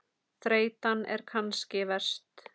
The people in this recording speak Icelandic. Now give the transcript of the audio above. Þreytan er kannski verst.